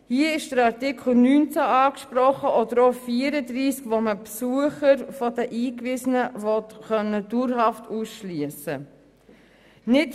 Hier ist Artikel 19 angesprochen und auch Artikel 34, mit dem man Besucher der Eingewiesenen dauerhaft ausschliessen können will.